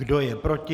Kdo je proti?